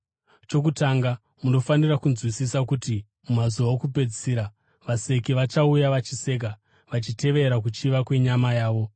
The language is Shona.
Chokutanga, munofanira kunzwisisa kuti mumazuva okupedzisira vaseki vachauya vachiseka, vachitevera kuchiva kwenyama yavo.